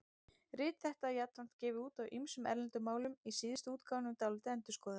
Rit þetta var jafnframt gefið út á ýmsum erlendum málum, í síðustu útgáfunum dálítið endurskoðað.